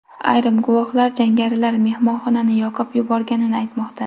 Ayrim guvohlar jangarilar mehmonxonani yoqib yuborganini aytmoqda.